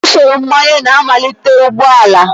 Usoro mgbanye na-amalite ụgbọ ala